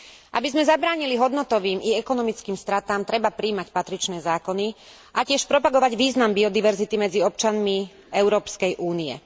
Aby sme zabránili hodnotovým i ekonomickým stratám, treba prijímať patričné zákony a tiež propagovať význam biodiverzity medzi občanmi Európskej únie.